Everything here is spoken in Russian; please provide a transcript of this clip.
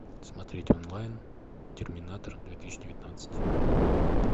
смотреть онлайн терминатор две тысячи девятнадцать